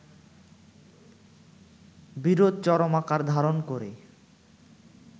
বিরোধ চরম আকার ধারণ করে